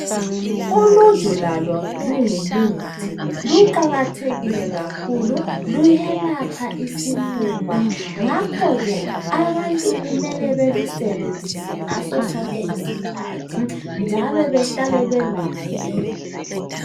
Uluju lalo lungumuthi luqakathekile kakhulu, luyalapha isifuba, ngakho-ke abantu kumele balusebenzise ngaso sonke isikhathi, njalo bahlale belalo.